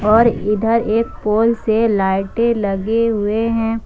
और इधर एक पोल से लाइटें लगी हुई हैं ।